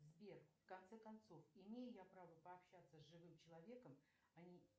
сбер в конце концов имею я право пообщаться с живым человеком а не